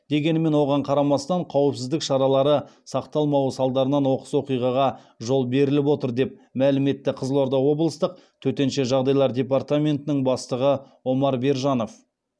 дегенмен оған қарамастан қауіпсіздік шаралары сақталмауы салдарынан оқыс оқиғаға жол беріліп отыр деп мәлім етті қызылорда облыстық төтенше жағдайлар департаментінің бастығы омар бержанов